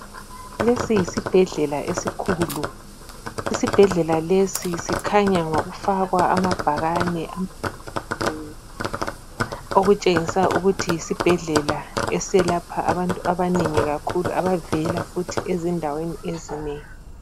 Lesi yisibhedlela esikhulu. Isibhedlela lesi sikhanya ngokufakwa amabhakane amanengi okutshengisa ukuthi yisibhedlela eselapha abantu abanengi kakhulu abavela futhi ezindaweni ezinengi.